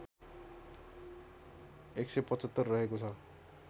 १७५ रहेको छ